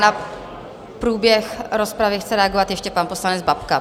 Na průběh rozpravy chce reagovat ještě pan poslanec Babka.